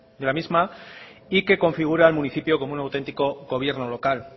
de la misma y que configura el municipio como un autentico gobierno local